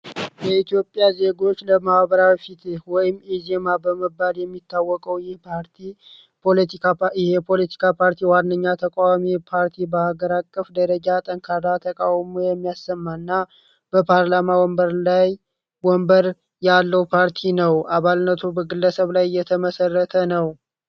የኢትዮጵያ ዜጎዎች ለማዋበራ ፊት ወይም ኤዝየማ በመባድ የሚታወቀው ይህ ፖለቲካ ፓርቲ ዋንኛ ተቋዋሚ ፓርቲ በሀገር አቀፍ ደረጃ ጠንካዳ ተቃውሞ የሚያሰማ እና በፓርላማ ወንበር ላይ ወንበር ያለው ፓርቲ ነውደ አባልነቱ በግለሰብ ላይ እየተመሰረተ ነው።